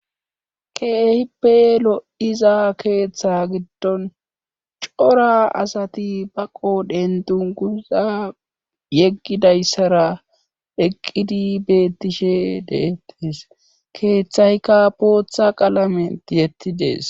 Keehippe lo7iza keeththa giddon cora asati baqo dendunkuza yeggidayssara eqqidi bettishe deettees keeththayka pootha qalament yettidees.